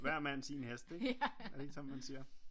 Hver mand sin hest ikke er det ikke sådan man siger?